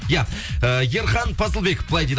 иә э ерхан пазылбеков былай дейді